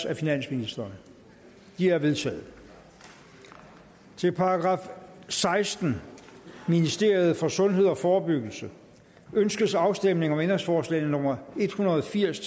af finansministeren de er vedtaget til § sekstende ministeriet for sundhed og forebyggelse ønskes afstemning om ændringsforslag nummer en hundrede og firs